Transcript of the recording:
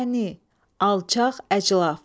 Dəni, alçaq, əclaf.